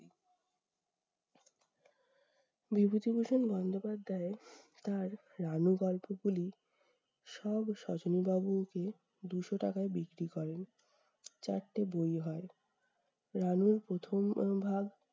বিভূতিভূষণ বন্দ্যোপাধ্যায় তার রানু গল্পগুলি সব সজনি বাবু কে দুশো টাকায় বিক্রি করেন। চারটে বই হয়, রানুর প্রথম উম ভাগ